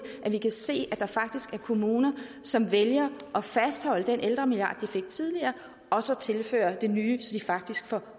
at vi kan se at der faktisk er kommuner som vælger at fastholde den ældremilliard de fik tidligere og så tilfører nye så de faktisk får